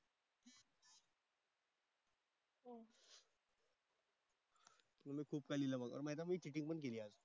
खूप काही लिहिलं होतं. माहिती आहे मी चीटिंग पण केली आज.